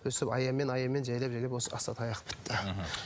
өстіп аянмен аянмен жайлап жайлап осы асатаяқ бітті мхм